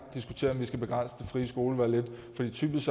diskutere om vi skal begrænse det frie skolevalg lidt for typisk